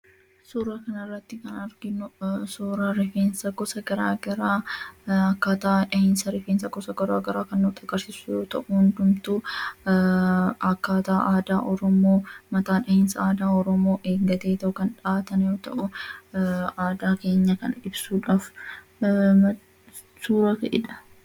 Suura kana irratti kan arginu, suuraa rifeensa gosa garaagaraa akkaataa dhahiinsa rifeensa gosa garaagaraa kan nutti agarsiisu yoo ta'u, hundumtuu akkaataa aadaa Oromoo, mataa dhahiinsa aadaa Oromoo eeggateetu kan dhahatan yoo ta'u, aadaa keenya kana ibsuudhaaf suuraa ka'edha.